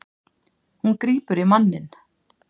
Hún grípur í manninn.